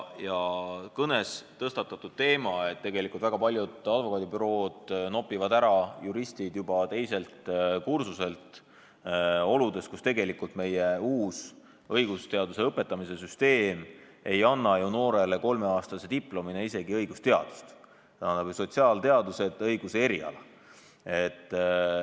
Kõnes tõstatati teema, et väga paljud advokaadibürood nopivad juristid ära juba teiselt kursuselt, seda oludes, kus meie uus õigusteaduse õpetamise süsteem ei anna ju noorele kolmeaastase õpingu järel isegi õigusteaduse diplomit, vaid sotsiaalteaduste diplomi õiguse erialal.